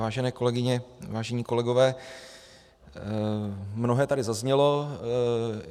Vážené kolegyně, vážení kolegové, mnohé tady zaznělo.